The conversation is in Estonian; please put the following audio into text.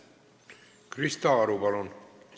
Krista Aru, palun!